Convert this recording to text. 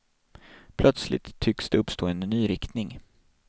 Plötsligt tycks det uppstå en ny riktning.